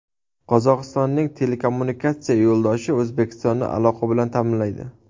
Qozog‘istonning telekommunikatsiya yo‘ldoshi O‘zbekistonni aloqa bilan ta’minlaydi.